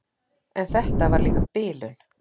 En þetta var líka bilun.